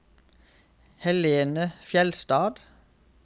Helene Fjeldstad